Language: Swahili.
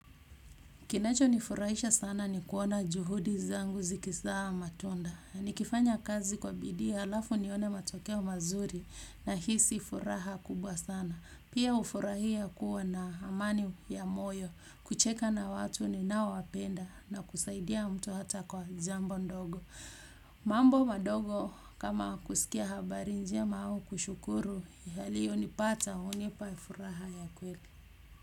Kinachonifurahisha sana ni kuona juhudi zangu zikizaa matunda. Nikifanya kazi kwa bidii halafu nione matokeo mazuri nahisi furaha kubwa sana. Pia hufurahia kuwa na amani ya moyo, kucheka na watu ninaowapenda na kusaidia mtu hata kwa jambo ndogo. Mambo madogo kama kusikia habari njema au kushukuru yaliyonipata hunipa furaha ya kweli.